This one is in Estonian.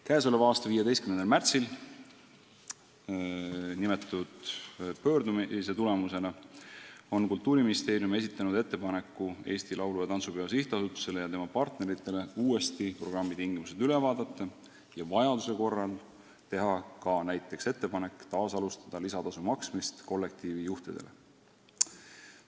Käesoleva aasta 15. märtsil esitas Kultuuriministeerium kõnealuse pöördumise tulemusena Eesti Laulu- ja Tantsupeo SA-le ja tema partneritele ettepaneku uuesti programmi tingimused üle vaadata ning vajaduse korral teha näiteks ettepanek taas alustada lisatasu maksmist kollektiivijuhtidele.